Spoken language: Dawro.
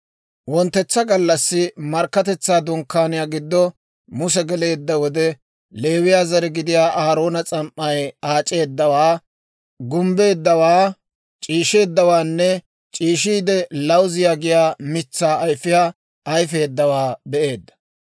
Wonttetsa gallassi Markkatetsaa Dunkkaaniyaa giddo Muse geleedda wode, Leewiyaa zare gidiyaa Aaroona s'am"ay aac'eeddawaa, gumbbeeddawaa, c'iisheeddawaanne c'iishiide lawuziyaa giyaa mitsaa ayfiyaa ayifeeddawaa be'eedda.